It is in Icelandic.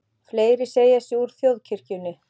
Fleiri segja sig úr þjóðkirkjunni